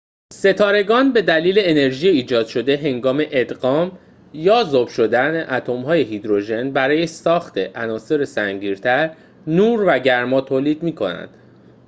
ستارگان به دلیل انرژی ایجاد شده هنگام ادغام یا ذوب شدن اتم های هیدروژن برای ساخت عناصر سنگین تر، نور و گرما تولید می‌کنند